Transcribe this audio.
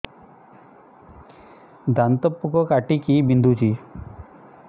ଦାନ୍ତ ପୋକ କାଟିକି ବିନ୍ଧୁଛି